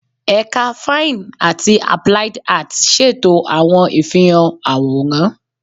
Ẹka Fine ati Applied Arts ṣeto awọn ifihan aworan